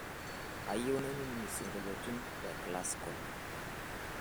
kayieu nainining' isingolioitin le classical